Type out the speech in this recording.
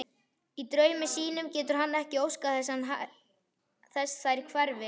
Í draumi sínum getur hann ekki óskað þess þær hverfi.